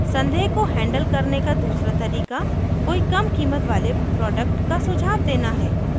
संदेह को हैंडल करने का दूसरा तरीका कोई कम कीमत वाले प्रोडक्ट का सुझाव देना है